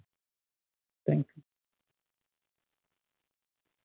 Thank you